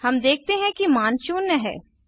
हम देखते हैं कि मान शून्य है